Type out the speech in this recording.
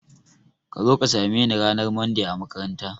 Kazo ka same ni ranar Monday a makaranta